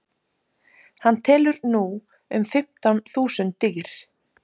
hann telur nú um fimmtán þúsund dýr